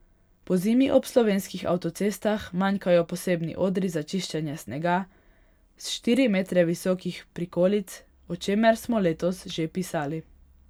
Pozimi ob slovenskih avtocestah manjkajo posebni odri za čiščenje snega s štiri metre visokih prikolic, o čemer smo letos že pisali.